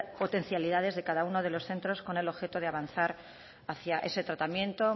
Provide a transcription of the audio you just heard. potencialidades de cada uno de los centros con el objeto de avanzar hacia ese tratamiento